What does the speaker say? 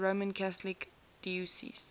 roman catholic diocese